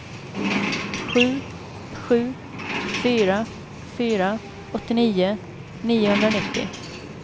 sju sju fyra fyra åttionio niohundranittio